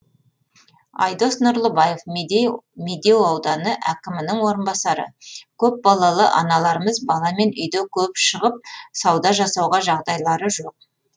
айдос нұрлыбаев медеу ауданы әкімінің орынбасары көпбалалы аналарымыз баламен үйде көп шығып сауда жасауға жағдайлары жоқ